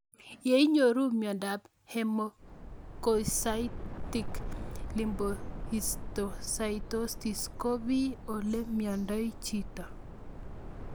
Ye inyoru miondop hemophagocytic lymphohistiocytosis ko pee ole miondoi chito